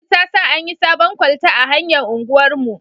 Gwamnati ta sa an yi sabon kwalta a hanyar unguwar mu